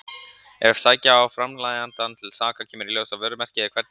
Ef sækja á framleiðandann til saka kemur í ljós að vörumerkið er hvergi skrásett.